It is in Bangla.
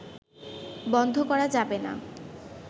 বন্ধ করা যাবে না